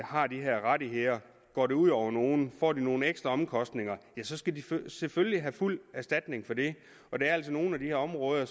har de her rettigheder går det ud over nogen får de nogen ekstra omkostninger så skal de selvfølgelig have fuld erstatning for det og der er altså nogle af de her områder